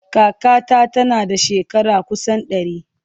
Kakata tana da shekara kusan ɗari.